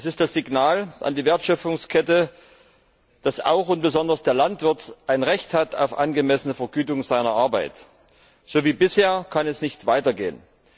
Es ist das Signal an die Wertschöpfungskette, dass auch und besonders der Landwirt ein Recht auf angemessene Vergütung seiner Arbeit hat. So wie bisher kann es nicht weitergehen!